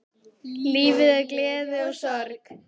Lífið er gleði og sorg.